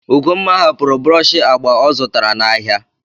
Ugomma hapụrụ brọọshị agba ọ zụtara n'ahịa n'èzí.